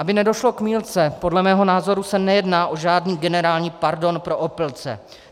Aby nedošlo k mýlce, podle mého názoru se nejedná o žádný generální pardon pro opilce.